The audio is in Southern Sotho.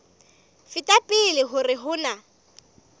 feta pele hore ho na